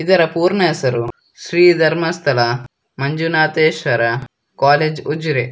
ಇದರ ಪೂರ್ಣ ಹೆಸರು ಶ್ರೀ ಧರ್ಮಸ್ಥಳ ಮಂಜುನಾಥೇಶ್ವರ ಕಾಲೇಜ್ ಉಜರೆ.